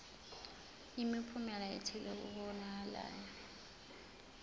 imiphumela ethile kokubonakalayo